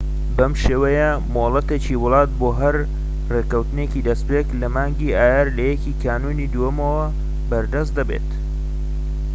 بەم شێوەیە مۆڵەتێکی وڵات بۆ هەر ڕێکەوتێکی دەستپێك لە مانگی ئایار لە 1ی کانونی دووەمەوە بەردەست دەبێت